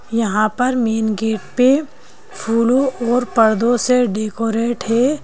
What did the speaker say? यहां पर main gate पे फूलों और पर्दों से डेकोरेट है।